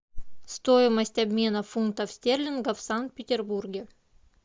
стоимость обмена фунтов стерлингов в санкт петербурге